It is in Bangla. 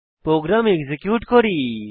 প্রোগ্রাম এক্সিকিউট করি